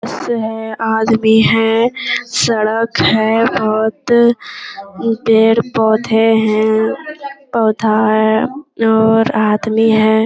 बस है आदमी है सड़क है बहुत पेड़-पौधे है पौधा है और आदमी है ।